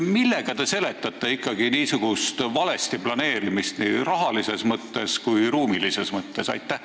Millega te seletate niisugust valesti planeerimist nii rahalises kui ka ruumilises mõttes?